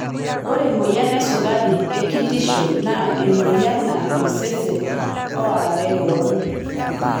Ore emoyian esukari e kitisho naa emoyian naa osesen oorare kewon.